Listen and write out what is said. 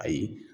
Ayi